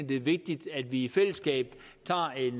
det er vigtigt at vi i fællesskab tager en